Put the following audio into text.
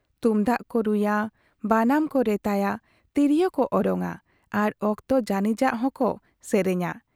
ᱛᱩᱢᱫᱟᱜ ᱠᱚ ᱨᱩᱭᱟ ᱵᱟᱱᱟᱢ ᱠᱚ ᱨᱮᱛᱟᱭᱟ, ᱛᱤᱨᱭᱳᱣ ᱠᱚ ᱚᱨᱚᱝ ᱟ ᱟᱨ ᱚᱠᱛᱚ ᱡᱟᱹᱱᱤᱡᱟᱜ ᱦᱚᱸᱠᱚ ᱥᱮᱨᱮᱧᱟ ᱾